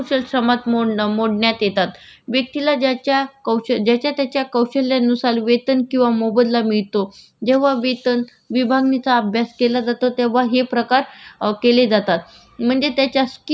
जेव्हा वेतन विभागणीचा अभ्यास केला जातो तेव्हा हे प्रकार केले जातात म्हणजे त्याच्या स्किल त्याला आत्मसात जे स्किल आहे त्याच्यावरून त्याचे श्रमाचे प्रकार केले जातात